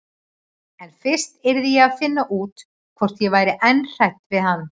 En fyrst yrði ég að finna út hvort ég væri enn hrædd við hann.